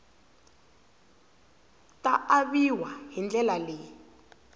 ta aviwa hi ndlela leyi